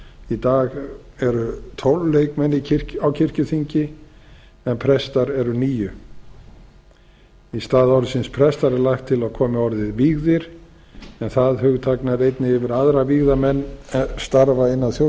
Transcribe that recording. í dag eru tólf leikmenn á kirkjuþingi en prestar eru níundi í stað orðsins prestar er lagt til að komi orðið vígðir en það hugtak nær einnig yfir aðra vígða menn er starfa innan þjóðkirkjunnar